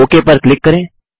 okay पर click करें